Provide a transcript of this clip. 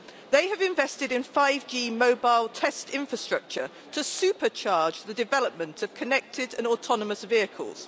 They have invested in 5G mobile test infrastructure to supercharge the development of connected and autonomous vehicles.